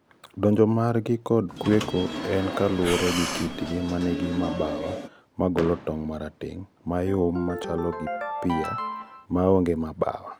donjo margi kod kweko en kalure gi kitgi manigi mabawa magolo tong marateng, mayom machalo gi pear, maonge mabawa.